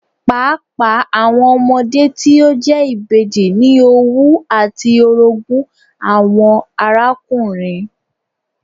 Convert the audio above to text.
Paapaa awọn ọmọde ti o jẹ ibeji ni owú ati orogun awọn arakunrin